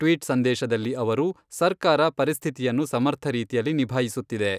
Tweet ಸಂದೇಶದಲ್ಲಿ ಅವರು, ಸರ್ಕಾರ ಪರಿಸ್ಥಿತಿಯನ್ನು ಸಮರ್ಥ ರೀತಿಯಲ್ಲಿ ನಿಭಾಯಿಸುತ್ತಿದೆ.